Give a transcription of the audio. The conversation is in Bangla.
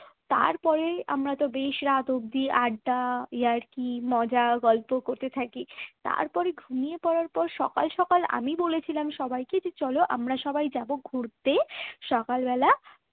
তারপরে আমরা বেশ রাত অব্দি আড্ডা ইয়ার্কি মজা গল্প করতে থাকি তারপর ঘুমিয়ে পড়ার পর সকাল সকাল আমি বলেছিলাম যে চলো আমরা সবাই যাব ঘুরতে সকালবেলা